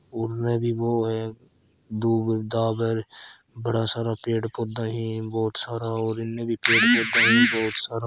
घणा सारा पेड़ पौधा है बहुत सारा और इन्हें भी पेड़ पौधा है बहुत सारा --